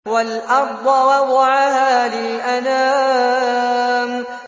وَالْأَرْضَ وَضَعَهَا لِلْأَنَامِ